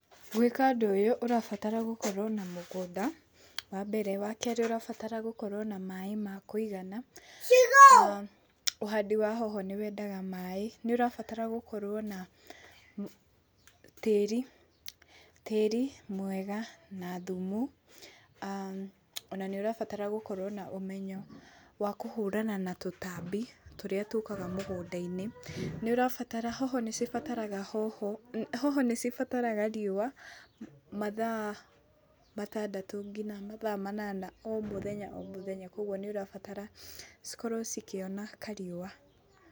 Gwika ũndũ ũyũ ũrabatara gũkorwo na mũgũnda wa Mbereri, wa kerĩ ũrabatara gũkorwo na maĩ makũigana na ũhandi hoho nĩ wendaga maĩ, nĩ ũrabatara gũkorwo na tĩri tĩri mwega na thumu aa ona nĩ ũrabatara gũkorwo na ũmenyo wa kũhũrana na tũtambi tũrĩa tũkaga mũgũnda-inĩ, hoho nĩ cibataraga riũa mathaa matandũ nginya mathaa manana o mũthenya o mũthenya kũgua nĩ ũrabatara cikorwo ikĩona kariũa.